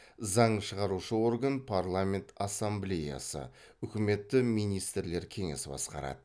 заң шығарушы орган парламент ассамблеясы үкіметті министрлер кеңесі басқарады